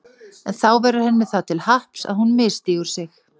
En þá verður henni það til happs að hún misstígur sig.